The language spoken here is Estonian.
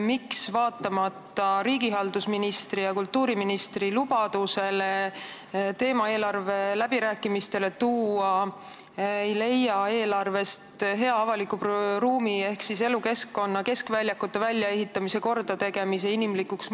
Miks vaatamata riigihalduse ministri ja kultuuriministri lubadusele see teema eelarve läbirääkimistel kõneks võtta ei leia eelarvest avaliku ruumi ehk elukeskkonna inimlikumaks muutmise kava, näiteks keskväljakute väljaehitamist-kordategemist?